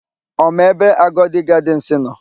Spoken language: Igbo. Ọ ma ebe Agodi Gadịnsị nọ?